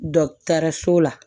Dɔkitɛriso la